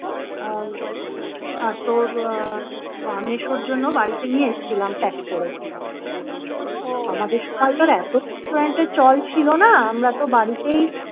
আহ আর তোর আহ মেসোর জন্য বাড়িতে নিয়ে এসেছিলাম pack করে । আমাদের সময় তো আর এত restaurant এর চল ছিল না আমরা তো বাড়িতেই